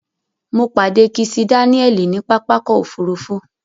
Mo pàdé Kisi Dáníẹ̀lì ní pápákọ̀ òfurufú.